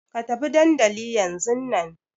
Ka tafi dandli yanzun na!